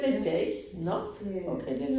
Ja. Det